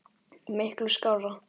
Miklu skárra.